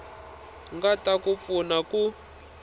nga ta ku pfuna ku